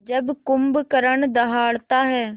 जब कुंभकर्ण दहाड़ता है